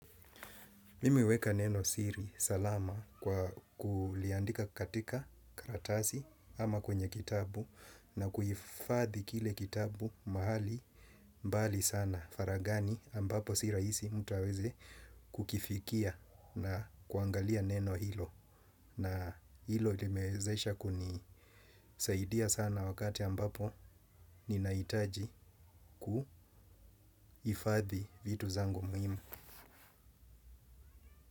Mimi huweka neno siri salama kwa kuliandika katika karatasi ama kwenye kitabu na kuhifadhi kile kitabu mahali mbali sana faragani ambapo si raisi mtu aweze kukifikia na kuangalia neno hilo na hilo limewezesha kuni saidia sana wakati ambapo ninahitaji kuhifadhi vitu zangu muhimu.